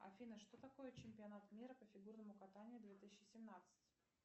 афина что такое чемпионат мира по фигурному катанию две тысячи семнадцать